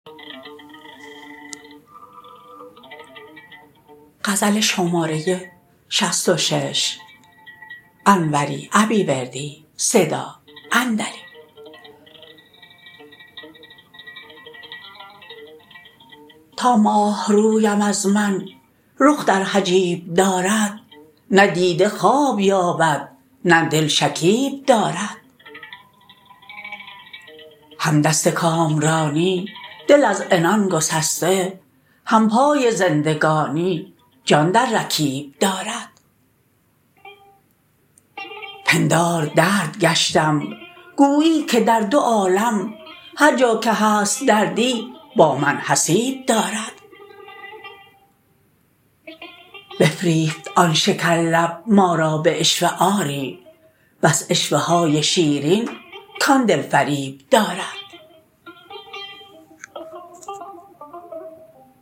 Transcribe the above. تا ماه رویم از من رخ در حجیب دارد نه دیده خواب یابد نه دل شکیب دارد هم دست کامرانی دل از عنان گسسته هم پای زندگانی جان در رکیب دارد پندار درد گشتم گویی که در دو عالم هرجا که هست دردی با من حسیب دارد بفریفت آن شکر لب ما را به عشوه آری بس عشوه های شیرین کان دلفریب دارد